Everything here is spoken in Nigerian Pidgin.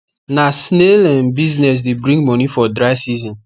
na snail um business de bring moni for dry season